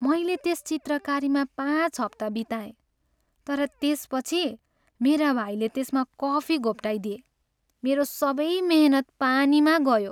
मैले त्यस चित्रकारीमा पाँच हप्ता बिताएँ तर त्यसपछि मेरा भाइले त्यसमा कफी घोप्ट्याइदिए। मेरो सबै मेहनत पानीमा गयो।